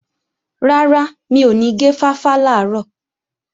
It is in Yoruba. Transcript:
Rárá, mi ò ní gé fáfá làárọ̀